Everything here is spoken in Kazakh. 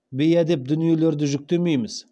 бейәдеп дүниелерді жүктемейміз